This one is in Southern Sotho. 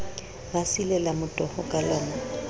ba silela motoho kalona a